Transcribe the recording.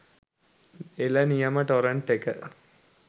එළ නියම ටොරන්ට් එක.